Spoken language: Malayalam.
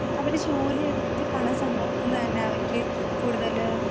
അവര് ജോലിയെടുത്ത് പണം സമ്പാദിക്കുന്നത് തന്നെ അവർക്ക് കൂടുതല്